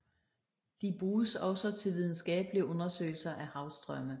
De bruges også til videnskabelige undersøgelser af havstrømme